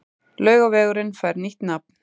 Laugavegurinn fær nýtt nafn